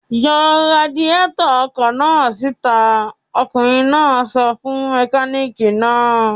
"Yọ radiátọ̀ ọkọ̀ náà síta!" Ọkùnrin náà sọ fún mẹkáníkì náà.